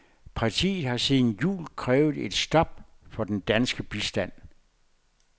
Partiet har siden jul krævet et stop for den danske bistand.